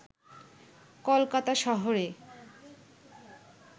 কলকাতা শহরে